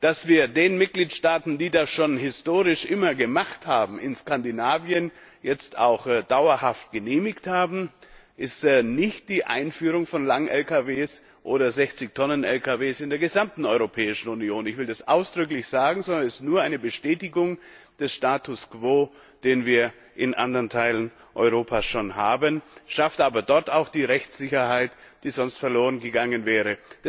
Was wir den Mitgliedstaaten, die das historisch schon immer gemacht haben, in Skandinavien jetzt auch dauerhaft genehmigt haben, ist nicht die Einführung von langen Lkws oder 60 Tonnen Lkws in der gesamten Europäischen Union ich will das ausdrücklich sagen sondern nur eine Bestätigung des Status quo, den wir in anderen Teilen Europas schon haben, schafft aber dort auch die Rechtssicherheit, die sonst verloren gegangen wäre.